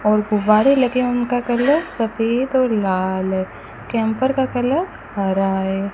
और गुब्बारे लगे उनका कलर सफेद और लाल है कैंपर का कलर हरा है।